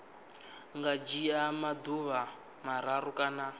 nga dzhia maḓuvha mararu kana